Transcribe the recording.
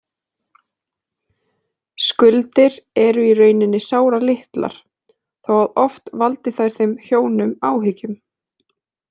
Skuldir eru í rauninni sáralitlar þó að oft valdi þær þeim hjónum áhyggjum.